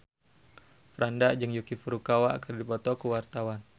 Franda jeung Yuki Furukawa keur dipoto ku wartawan